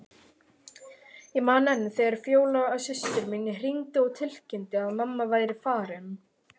Ég man enn þegar Fjóla systir mín hringdi og tilkynnti að mamma væri farin.